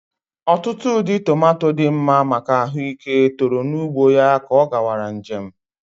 Otutu ụdị tomato dị mma maka ahụike toro n'ugbo ya ka ọ gawara nje m